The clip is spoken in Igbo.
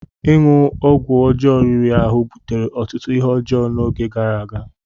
Ịṅụ ọgwụ ọjọọ riri ahụ butere ọtụtụ ihe ọjọọ n'oge gara aga.